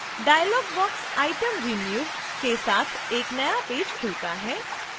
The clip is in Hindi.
dialogbox item renewed के साथ एक नया पेज खुलता है